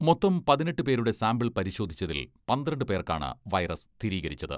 മൊത്തം പതിനെട്ട് പേരുടെ സാംപിൾ പരിശോധിച്ചതിൽ പന്ത്രണ്ട് പേർക്കാണ് വൈറസ് സ്ഥിരീകരിച്ചത്.